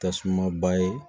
Tasuma ba ye